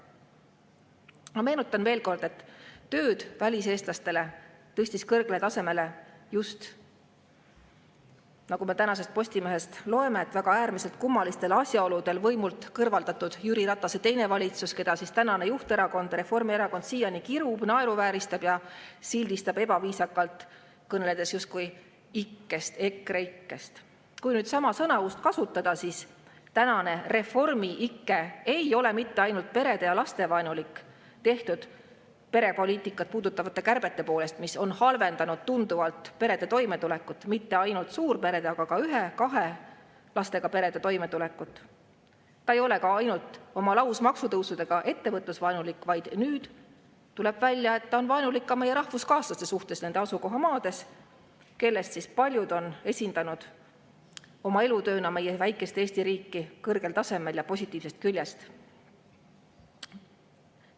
Ma meenutan veel kord, et töö väliseestlastega tõstis kõrgele tasemele äärmiselt kummalistel asjaoludel võimult kõrvaldatud – nagu me tänasest Postimehest loeme – Jüri Ratase teine valitsus, keda tänane juhterakond Reformierakond siiani kirub, naeruvääristab ja ebaviisakalt sildistab, kõneldes justkui ikkest, EKREIKE‑st. Kui samuti sõnausega tegelda, siis tänane Reformi-ike ei ole perede‑ ja lastevaenulik mitte ainult perepoliitikat puudutavate kärbete poolest, mis on tunduvalt halvendanud perede toimetulekut, ja mitte ainult suurperede, vaid ka ühe-kahe lapsega perede toimetulekut, ta ei ole ka ainult oma lausmaksutõusude tõttu ettevõtlusvaenulik, vaid nüüd tuleb välja, et ta on vaenulik ka meie rahvuskaaslaste suhtes nende asukohamaades, kellest paljud on esindanud oma elutööna meie väikest Eesti riiki kõrgel tasemel ja positiivsest küljest.